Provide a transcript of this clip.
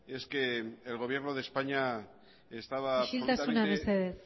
es que el gobierno de españa isiltasuna mesedez